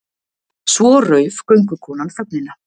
Svo rauf göngukonan þögnina.